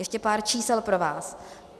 Ještě pár čísel pro vás.